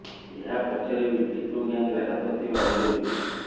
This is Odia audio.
ଏହା ପଛରେ ବି ଟିଟୋ ଗ୍ୟାଙ୍ଗର ହାତ ଥିବା ଅଭିଯୋଗ ହୁଏ